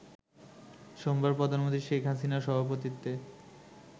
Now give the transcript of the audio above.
সোমবার প্রধানমন্ত্রী শেখ হাসিনার সভাপতিত্বে